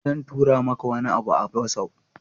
Zan tura maka wani abu a WhatsApp.